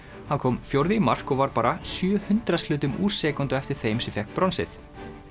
hann kom fjórði í mark og var bara sjö hundraðshlutum úr sekúndu á eftir þeim sem fékk bronsið